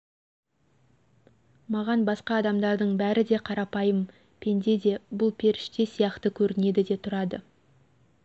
маған басқа адамдардың бәрі де қарапайым пенде де бұл періште сияқты көрінеді де тұрады